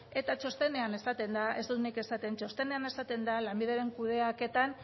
eta txostenean esaten da ez dut nik esaten lanbideren kudeaketan